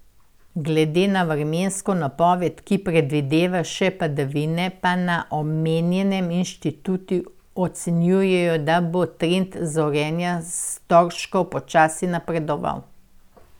Glede na vremensko napoved, ki predvideva še padavine, pa na omenjenem inštitutu ocenjujejo, da bo trend zorenja storžkov počasi napredoval.